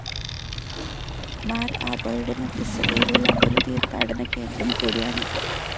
മാർ ആബോയുടെ മധ്യസ്ഥതയിലുള്ള ഒരു തീർത്ഥാടന കേന്ദ്രം കൂടിയാണിത്.